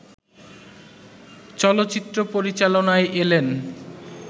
চলচ্চিত্র পরিচালনায় এলেন